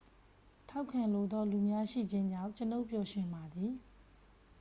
ထောက်ခံလိုသော လူများ ရှိခြင်းကြောင့် ကျွန်ုပ်ပျော်ရွှင်ပါသည်